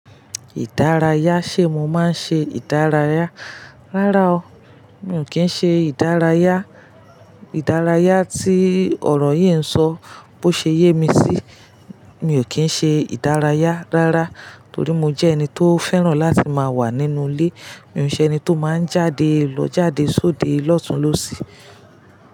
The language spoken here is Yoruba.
Ìdárayá, ṣe mo máa ń ṣe ìdárayá? Rárá o, mi ò kí ń ṣe ìdárayá. Ìdárayá tí ọ̀rọ̀ yí ń sọ bó ṣe yémí sí, mi ò kí ń ṣe ìdárayá rárá torí mo jẹ́ ẹni tó fẹ́ràn láti máa wà nínú ilé. Mi ò ṣe ẹni tó máa ń jáde lọ jáde sóde lọ́tunlọ́sì.